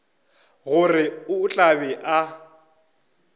gore o tla be a